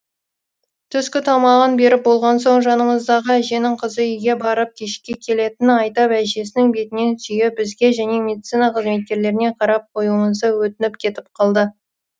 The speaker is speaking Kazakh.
түскі тамағын беріп болған соң жанымыздағы әженің қызы үйге барып кешке келетінін айтып әжесінің бетінен сүйіп бізге және медицина қызметкерлеріне қарап қоюымызды өтініп кетіп қалды